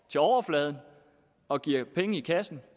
til overfladen og giver penge i kassen